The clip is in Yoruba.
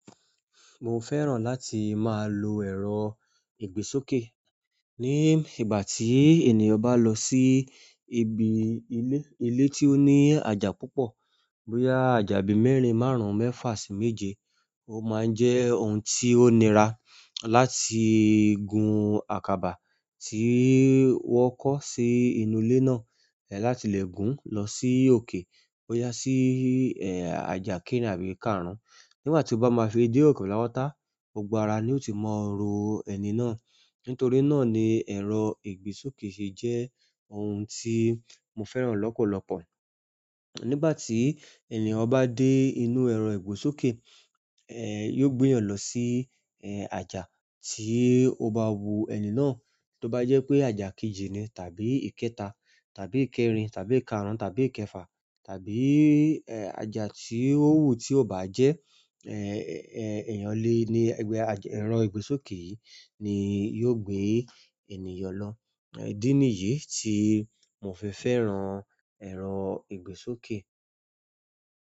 Mo fẹ́ràn láti máa lo ẹ̀rọ ìgbésókè. Ni ìgbà tí ènìyàn bá lọ sí ibi ilé, ilé tí ó ní àjà púpọ̀ bóyá àjà bí mẹ́rin, márùn-ún, mẹ́fà sì méje, ó máa ń jẹ́ ohun tí ó nira láti gun àkàbà. Ti i wọn kọ si ìlú ile náà láti lẹ gùn lọ si í òkè bóyá si i aja kerin àbí kàrún. Nígbà tí ó bá máa fi dé òkè pátápátá, gbogbo ara ni ó ti máa rọ ẹ̀ní náà. Nítorí náà ni ẹ̀rọ ìgbésókè ṣe jẹ́ ohun tí mo fẹ́ràn lọ́pọ̀lọpọ̀. Nígbà tí ènìyàn bá dé inú ẹ̀rọ ìgbésókè, yóò gbé yàn lọ sí, àjà tí ó bá wu ẹ̀ní náà. To ba jẹ pe aja keeji ni tàbí ikẹta tàbí ikerin tàbí ikarun tàbí ikefa tàbí aja ti o wu ti o báà jé, ẹrọ ìgbésókè yìí ni yóò gbé ènìyàn lọ idi niyìí tí mo fi fẹ́ran ẹ̀rọ ìgbésókè.